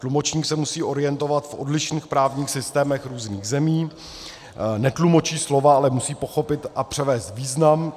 Tlumočník se musí orientovat v odlišných právních systémech různých zemí, netlumočí slova, ale musí pochopit a převést význam.